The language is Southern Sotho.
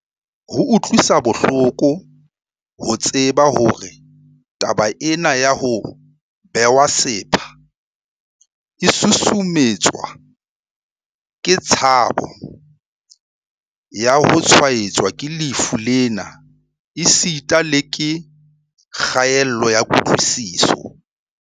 Ho utlwisa bohloko ho tseba hore taba ena ya ho bewa sepha e susumetswa ke tshabo ya ho tshwaetswa ke lefu lena esita le ke kgaello ya kutlwisiso.